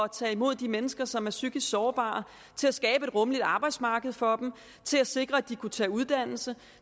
tage imod de mennesker som er psykisk sårbare til at skabe et rummeligt arbejdsmarked for dem til at sikre at de kunne tage uddannelse